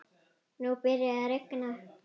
Nú byrjaði að rigna.